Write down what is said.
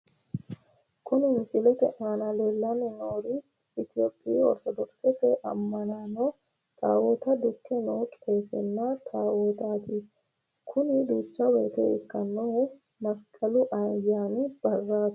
Kuni misilete aana leelanni nooeri Ethiophiyu orto doxete ama'no tawota duke noo qeesenna taawotati kuni duucha woyte ikanohu masiqalu ayaani baraati.